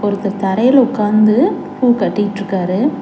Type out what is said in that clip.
ஒருத்தர் தரையில உக்காந்து பூ கட்டிக்ட்ருக்காரு.